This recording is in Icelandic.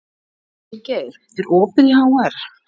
Vilgeir, er opið í HR?